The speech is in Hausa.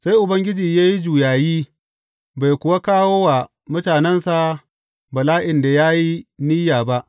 Sai Ubangiji ya yi juyayi, bai kuwa kawo wa mutanensa bala’in da ya yi niyya ba.